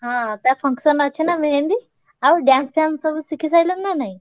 ହଁ ତା function ଅଛି ନା ମେହେନ୍ଦୀ? ଆଉ dance ଫ୍ଯାନ୍ଶ ସବୁ ଶିଖି ସାଇଲଣି ନା ନାଇଁ?